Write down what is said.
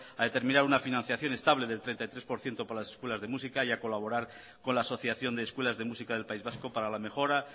a determinar una financiación estable del treinta y tres por ciento para las escuelas de música y a colaborar con la asociación de escuelas de música del país vasco para la mejora